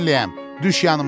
səninləyəm,